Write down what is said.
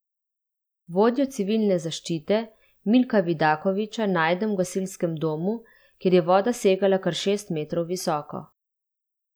Vodjo civilne zaščite, Milka Vidakovića, najdem v gasilskem domu, kjer je voda segala kar šest metrov visoko.